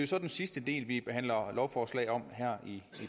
så den sidste del vi behandler lovforslag om her i